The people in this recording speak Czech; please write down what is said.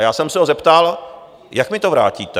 A já jsem se ho zeptal, jak mi to vrátíte?